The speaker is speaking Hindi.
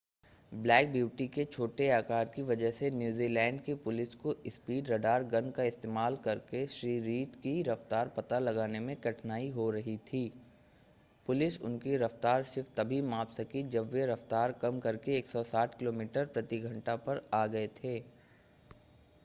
ब्लैक ब्यूटी के छोटे आकार की वजह से न्यूज़ीलैंड की पुलिस को स्पीड रडार गन का इस्तेमाल करके श्री रीड की रफ़्तार पता लगाने में कठिनाई हो रही थी. पुलिस उनकी रफ़्तार सिर्फ़ तभी माप सकी जब वे रफ़्तार कम करके 160 किलोमीटर/घंटा पर आ गए थे